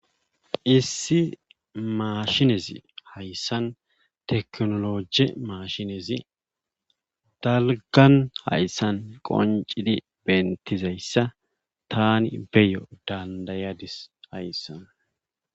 Issi maashinezi hayssn tekinoloje maashinezi dalggan hayssan qonccidi bentidayssa taani beyo dandayadis hayssan.